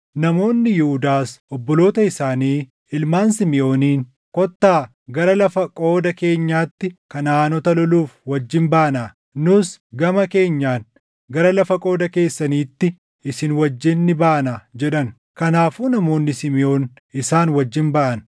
Namoonni Yihuudaas obboloota isaanii ilmaan Simiʼooniin, “Kottaa gara lafa qooda keenyaatti Kanaʼaanota loluuf wajjin baanaa; nus gama keenyaan gara lafa qooda keessaniitti isin wajjin ni baanaa” jedhan. Kanaafuu namoonni Simiʼoon isaan wajjin baʼan.